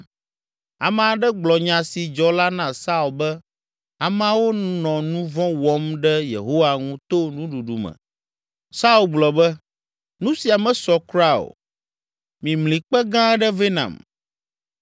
Ame aɖe gblɔ nya si dzɔ la na Saul be ameawo nɔ nu vɔ̃ wɔm ɖe Yehowa ŋu to nuɖuɖu me. Saul gblɔ be, “Nu sia mesɔ kura o! Mimli kpe gã aɖe vɛ nam